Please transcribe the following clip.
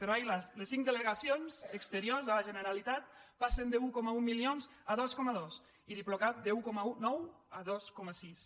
però ai las les cinc delegacions exteriors de la generalitat passen d’un coma un milions a dos coma dos i diplocat d’un coma nou a dos coma sis